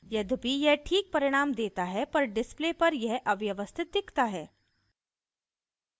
यद्यपि यह ठीक परिणाम देता है पर display पर यह अव्यवस्थित दिखता है